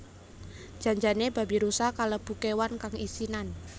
Jan jane babirusa kalebu kewan kang isinan